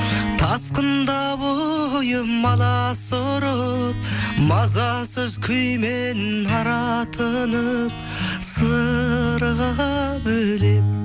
тасқында бойым аласұрып мазасыз күймен аратынып сырға бөлеп